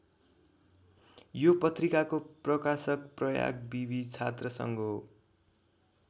यो पत्रिकाको प्रकाशक प्रयाग विवि छात्रसङ्घ हो।